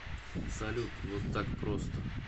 салют вот так просто